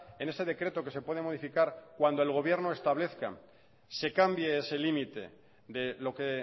en ese decreto que se puede modificar cuando el gobierno establezca se cambie ese límite de lo que